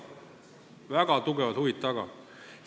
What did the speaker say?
Väga suured huvid on taga!